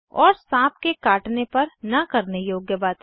और साँप के काटने पर न करने योग्य बातें